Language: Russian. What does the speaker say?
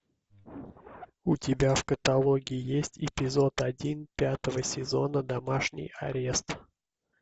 у тебя в каталоге есть эпизод один пятого сезона домашний арест